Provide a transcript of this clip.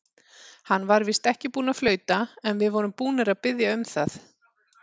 Hann var víst ekki búinn að flauta, en við vorum búnir að biðja um það.